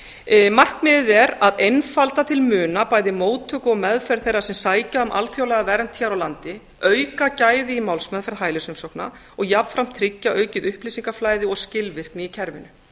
febrúar markmiðið er að einfalda til muna bæði móttöku og meðferð þeirra sem sækja um alþjóðlega vernd hér á landi auka gæði í málsmeðferð hælisumsókna og jafnframt tryggja aukið upplýsingaflæði og skilvirkni í kerfinu